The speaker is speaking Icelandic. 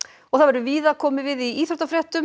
og það verður víða komið við í íþróttafréttum